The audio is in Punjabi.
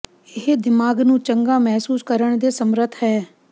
ਇਹ ਦਿਮਾਗ ਨੂੰ ਚੰਗਾ ਮਹਿਸੂਸ ਕਰਨ ਦੇ ਸਮਰੱਥ ਹੈ